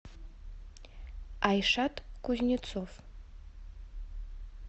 айшат кузнецов